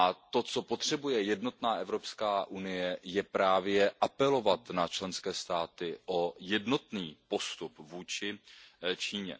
To, co potřebuje jednotná EU, je právě apelovat na členské státy o jednotný postup vůči Číně.